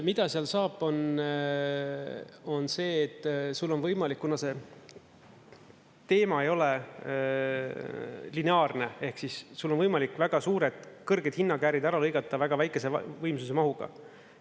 Mida seal saab, on see, et sul on võimalik, kuna see teema ei ole lineaarne, ehk siis sul on võimalik väga suured, kõrged hinnakäärid ära lõigata väga väikese võimsuse mahuga.